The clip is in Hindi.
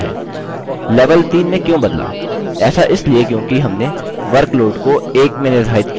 level 3 में क्यों बदला ऐसा इसलिए क्योंकि हमने workload को 1 में निर्धारित किया है